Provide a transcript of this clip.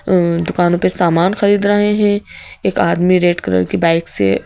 अ दुकानों पे सामान खरीद रहे हैं एक आदमी रेड कलर की बाइक से--